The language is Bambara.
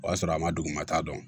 O y'a sɔrɔ a ma dugumata dɔn